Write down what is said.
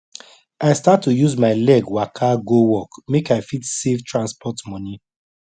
i start to use my leg waka go work make i fit save transport money